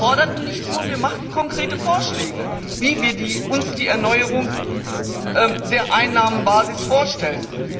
Wir forderten nicht nur, wir machten konkrete Vorschläge, wie wir uns die Erneuerung der Einnahmenbasis vorstellen.